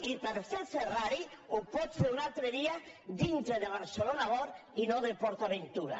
i per fer ferrari ho pot fer un altre dia dintre de barcelona world i no de port aventura